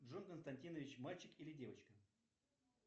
джон константинович мальчик или девочка